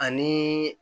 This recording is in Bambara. Ani